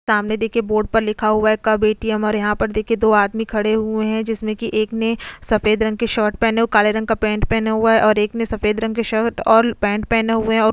सामने देखिए बोर्ड पर लिखा हुआ है कब ए_टीए_म और यहां पर देखिए दो आदमी खड़े हुए हैं जिसमें कि एक ने सफेद रंग के शर्ट पहने और काले रंग का पेंट पहना हुआ है और एक ने सफेद रंग के शर्ट और पैंट पहने हुए हैं और --